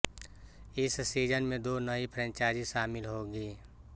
इस सीज़न में दो नई फ्रैंचाइज़ी शामिल होंगी